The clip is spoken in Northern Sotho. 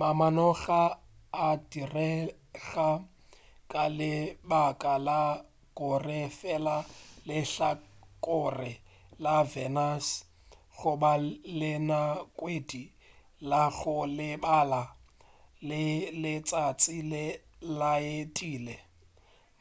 mamanoga a direga ka le baka la gore fela lehlakore la venus goba la ngwedi la go lebana le letšatši le laetilwe.